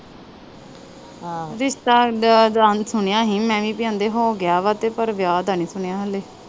ਰਿਸ਼ਤਾ ਸੁਣਿਆ ਹੀ ਮੈ ਵੀ ਪੀ ਆਂਦੇ ਹੀ ਹੋਗਿਆ ਵਾ ਤੇ ਪਰ ਵਿਆਹ ਦਾ ਨਹੀਂ ਸੁਣਿਆ ਹਲੇ।